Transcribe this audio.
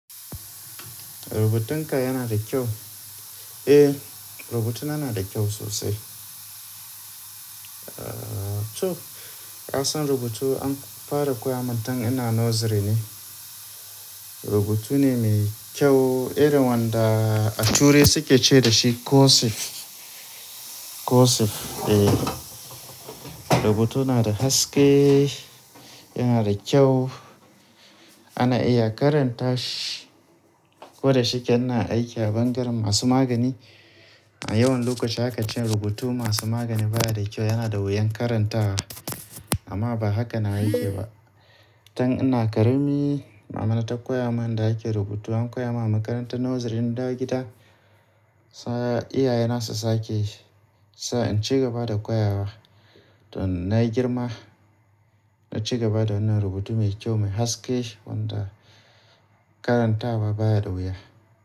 Rubutunka yana da kyau? Eh, rubutuna yana da kyau sosai. To, ka san rubutu an fara koya min tun ina nursery ne. Rubutu ne mai kyau, irin wanda a ture suke ce da shi cursive. Cursive, eh. Rubutu yana da haske, yana da kyau. Ana iya karanta shi, ko da shike ina aiki a bangaren masu magani. A yawan lokaci aka ce rubutu masu magani baya da kyau, yana da wuyan karantawa amma ba haka nawa yake ba. Tun ina karami Mama na ta koya mun inda ake rubutu. An koya ma a makarantar nursery na gida. Sa iyaye na su sake, sai in ci gaba da koya wa. To na yi girma na ci gaba da wannan rubutu mai kyau, mai haske wanda karantawa baya da wuya.